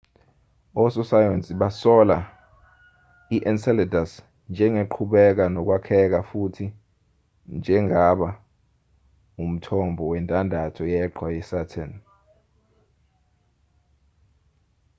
ososayensi basola i-enceladus njengeqhubeka nokwakheka futhi njengaba umthombo wendandatho yeqhwa yesaturn